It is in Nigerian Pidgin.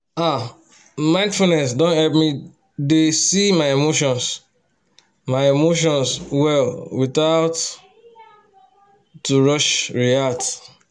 ahmindfulness don help me dey see my emotions my emotions well without to rush react